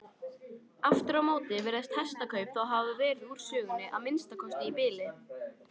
Aftur á móti virðast hestakaup þá hafa verið úr sögunni, að minnsta kosti í bili.